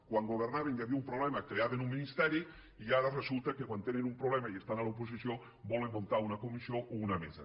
quan governaven i hi havia un problema creaven un ministeri i ara resulta que quan tenen un problema i estan a l’oposició volen muntar una comissió o una mesa